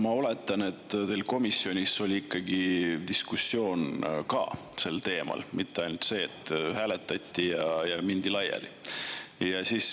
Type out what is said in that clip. Ma oletan, et teil komisjonis oli ka diskussioon sel teemal, mitte ei olnud ainult nii, et hääletati ja mindi laiali.